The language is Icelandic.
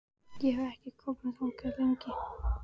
Ég hef ekki komið þangað lengi.